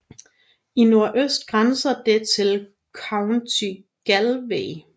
I nordøst grænser det til County Galway